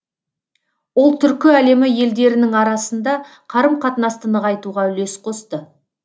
ол түркі әлемі елдерінің арасында қарым қатынасты нығайтуға үлес қосты